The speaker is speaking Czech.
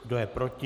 Kdo je proti?